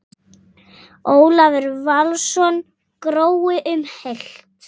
Ólafur Valsson: Grói um heilt?